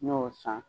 N y'o san